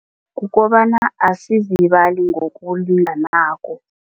Kukobana asizibali ngokulinganako.